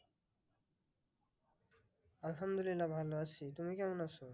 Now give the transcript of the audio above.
আহামদুল্লিল্লা ভালো আছি তুমি কেমন আছো?